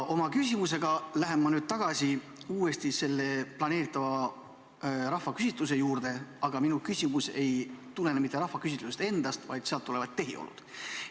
Oma küsimusega lähen ma nüüd uuesti tagasi planeeritava rahvaküsitluse juurde, aga minu küsimus ei ole mitte rahvaküsitluse enda kohta, vaid sealt tulenevate tehiolude kohta.